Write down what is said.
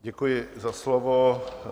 Děkuji za slovo.